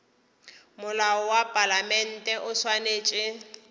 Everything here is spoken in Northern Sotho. molao wa palamente o swanetše